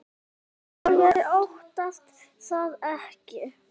Halldór Jónsson yngri.